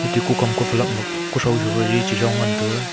taku Kom ku phalak ma kotho ji chachong ngan taga.